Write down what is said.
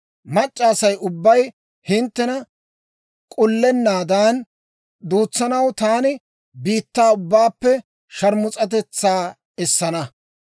Mac'c'a Asay ubbay hinttena k'ullennaadan duutsanaw, taani biittaa ubbaappe sharmus'atetsaa essana.